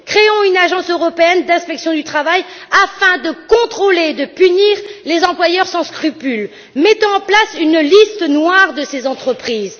Créons une agence européenne d'inspection du travail, afin de contrôler et de punir les employeurs sans scrupules. Mettons en place une liste noire de ces entreprises.